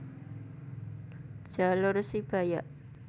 Jalur Sibayak